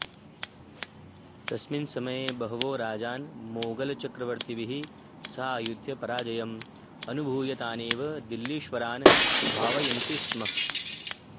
तस्मिन् समये बहवो राजानः मोगलचक्रवर्तिभिः सह आयुध्य पराजयम् अनुभूय तानेव दिल्लीश्वरान् भावयन्ति स्म